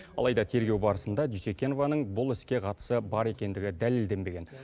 алайда тергеу барысында дүйсекенованың бұл іске қатысы бар екендігі дәлелденбеген